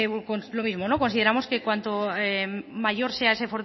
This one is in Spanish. lo mismo consideramos que cuanto mayor sea